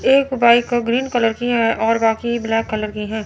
एक bike green colour की है और बाकी ब्लैक कलर की हैं।